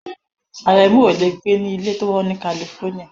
Àrẹ̀mú ò le gbé ní ilé tó wọ́n ní California.